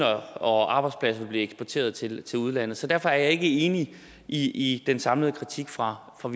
og arbejdspladser ville blive eksporteret til til udlandet så derfor er jeg ikke enig i den samlede kritik fra fra